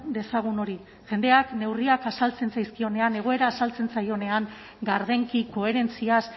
dezagun hori jendeak neurriak azaltzen zaizkionean egoera azaltzen zaionean gardenki koherentziaz